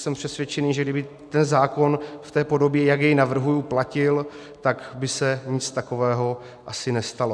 Jsem přesvědčený, že kdyby ten zákon v té podobě, jak jej navrhuji, platil, tak by se nic takového asi nestalo.